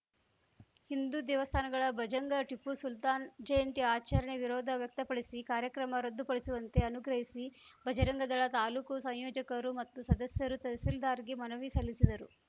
ಹಿಂದು ದೇವಸ್ಥಾನಗಳ ಭಂಜಕ ಟಿಪ್ಪು ಸುಲ್ತಾನ್‌ ಜಯಂತಿ ಆಚರಣೆ ವಿರೋಧ ವ್ಯಕ್ತಪಡಿಸಿ ಕಾರ್ಯಕ್ರಮ ರದ್ದು ಪಡಿಸುವಂತೆ ಆಗ್ರಹಿಸಿ ಭಜರಂಗದಳ ತಾಲೂಕು ಸಂಯೋಜಕರು ಮತ್ತು ಸದಸ್ಯರು ತಹಶೀಲ್ದಾರ್‌ಗೆ ಮನವಿ ಸಲ್ಲಿಸಿದರು